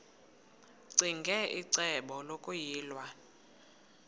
ccinge icebo lokuyilwa